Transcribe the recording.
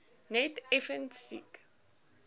net effens siek